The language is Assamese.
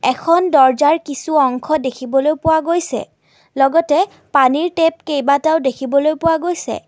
এখন দৰ্জাৰ কিছু অংশ দেখিবলৈ পোৱা গৈছে লগতে পানীৰ টেপ কেইবাটাও দেখিবলৈ পোৱা গৈছে।